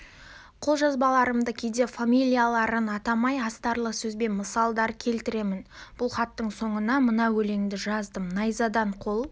қолжазбаларымда кейде фамилияларын атамай астарлы сөзбен мысалдар келтіремін бұл хаттың соңына мына өлеңді жаздым найзадан қол